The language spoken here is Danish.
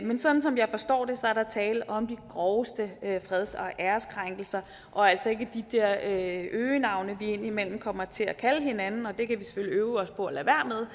men sådan som jeg forstår det er der tale om de groveste freds og æreskrænkelser og altså ikke de der øgenavne vi indimellem kommer til at kalde hinanden og det kan vi selvfølgelig øve os på at